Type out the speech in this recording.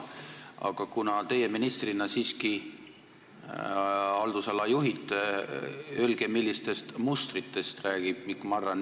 Aga kuna teie ministrina siiski seda haldusala juhite, öelge, millistest mustritest räägib Mikk Marran.